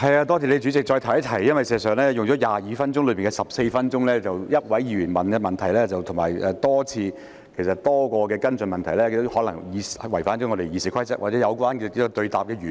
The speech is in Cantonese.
代理主席，我想再提一提，事實上，如果用了22分鐘內的14分鐘，只有一位議員提問，而且提出多項的跟進問題，這可能已違反《議事規則》或偏離質詢的原意。